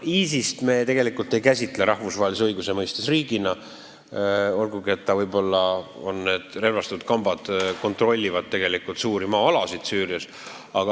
ISIS-t me ei käsitle rahvusvahelise õiguse mõistes riigina, olgugi et nende relvastatud kambad kontrollivad tegelikult suuri maa-alasid Süürias.